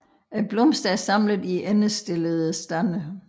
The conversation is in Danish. Blomsterne er samlet i endestillede stande